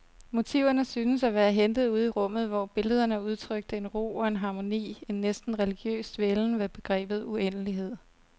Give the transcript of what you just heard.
Motiverne syntes at være hentet ude i rummet, hvor billederne udtrykte en ro og en harmoni, en næsten religiøs dvælen ved begrebet uendelighed.